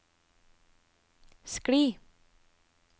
skli